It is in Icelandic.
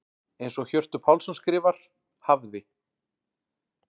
Eins og Hjörtur Pálsson skrifar: Hafði.